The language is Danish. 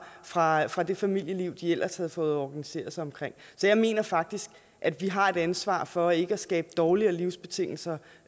fra fra det familieliv de ellers havde fået organiseret sig omkring så jeg mener faktisk at vi har et ansvar for ikke at skabe dårligere livsbetingelser